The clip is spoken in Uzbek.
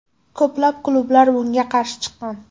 Ko‘plab klublar bunga qarshi chiqqan.